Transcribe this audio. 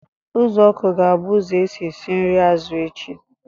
Uzuoku ga-abụ ụzọ esi esi nri azụ echi